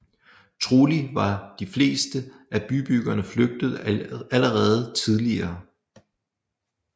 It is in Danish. Trolig var de fleste af byboerne flygtet allerede tidligere